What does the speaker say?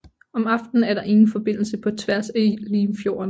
Om aftenen er der ingen forbindelse på tværs af Limfjorden